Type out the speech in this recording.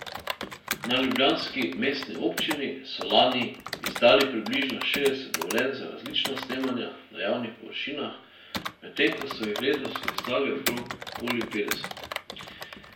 Na ljubljanski mestni občini so lani izdali približno šestdeset dovoljenj za različna snemanja na javnih površinah, medtem ko so jih letos izdali okoli petdeset.